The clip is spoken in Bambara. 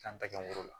K'an tɛgɛ woro la